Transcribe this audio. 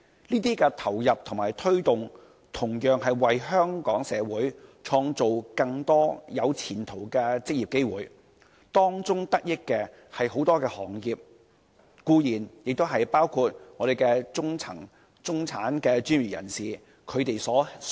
這些投放和推動同樣為香港社會創造更多有前途的職業機會，惠及多個行業，也包括香港中層、中產專業人士。